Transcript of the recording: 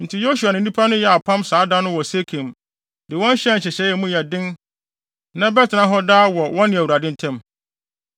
Enti Yosua ne nnipa no yɛɛ apam saa da no wɔ Sekem, de wɔn hyɛɛ nhyehyɛe a emu yɛ den na ɛbɛtena hɔ daa wɔ wɔne Awurade ntam.